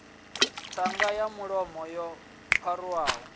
ṱhanga ya mulomo yo pharuwaho